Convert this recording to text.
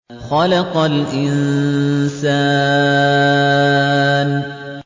خَلَقَ الْإِنسَانَ